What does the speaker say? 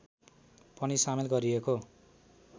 पनि सामेल गरिएको